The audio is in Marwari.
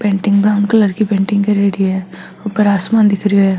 पेंटिंग ब्रॉउन कलर की पेंटिंग करेड़ी है ऊपर आसमान दिख रेहो है।